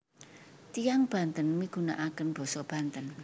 Tiyang Banten migunakaken basa Banten